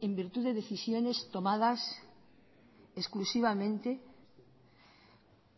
en virtud de decisiones tomadas exclusivamente